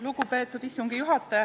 Lugupeetud istungi juhataja!